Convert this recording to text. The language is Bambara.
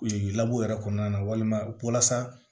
yɛrɛ kɔnɔna na walima walasa